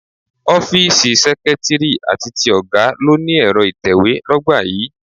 Ọ́fíìsì seketiri àti ti ọ̀gá ló ni Ẹ̀rọ ìtẹ̀we l'ogba yìí.